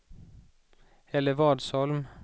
Hällevadsholm